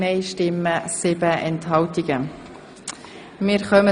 Sie haben Ziffer eins als Postulat angenommen.